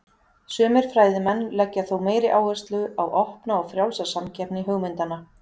Sumir fræðimenn leggja þó meiri áherslu á opna og frjálsa samkeppni hugmyndanna.